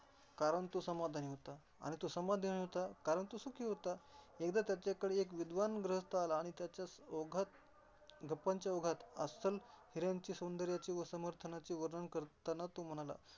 कारण तो समाधानी होता आणि तो समाधानी होता, कारण तो सुखी होता. एकदा त्याच्याकडे एक विद्वान गुहास्थ आला आणि त्याच्या ओघात गप्पांच्या ओघात अस्सल हिऱ्यांचे सौदर्याचे व समर्थनाचे वर्णन करताना तो म्हणाला.